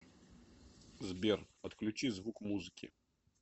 сбер отключи звук музыки